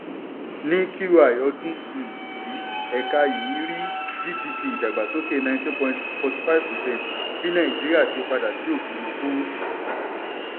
ní q one ọdún um yìí ẹ̀ka yìí rí gdp ìdàgbásókè nineteen point forty five percent bí nàìjíríà ṣe padà sí òfùrúfú.